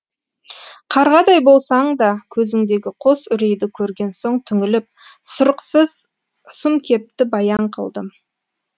қарғадай болсаң да көзіңдегі қос үрейді көрген соң түңіліп сұрықсыз сұм кепті баян қылдым